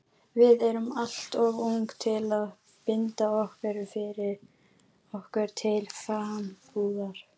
Við erum alltof ung til að binda okkur til frambúðar.